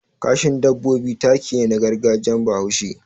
Kashin dabbobi taki ne na gargajiyar Bahaushe.